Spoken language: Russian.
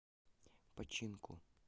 починку